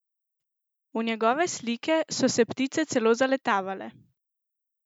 V njegove slike so se ptice celo zaletavale!